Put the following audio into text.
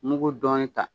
Mugu dɔnni ta